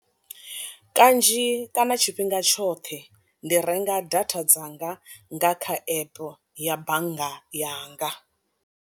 Kanzhi kana tshifhinga tshoṱhe ndi renga data dzanga nga kha epe ya bannga yanga.